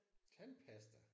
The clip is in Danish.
Tandpasta?